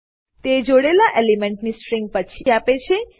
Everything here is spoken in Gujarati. તે જોડેલા એલિમેન્ટની સ્ટ્રીંગ પછી આપે છે